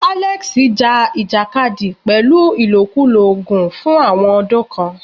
Alex ja ìjàkadì pẹ̀lú ìlòkulò oògùn fún àwọn ọdún kan.